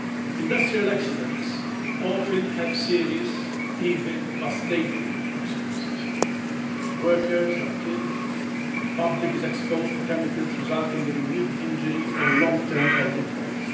Industrial accidents often have serious, even devastating, consequences workers are killed the public is exposed to chemicals resulting in immediate injury or long term health impacts